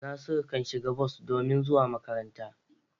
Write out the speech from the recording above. Nasiru kan shiga bas domin zuwa makaranta.